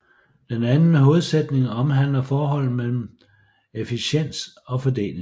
Den anden hovedsætning omhandler forholdet mellem efficiens og fordeling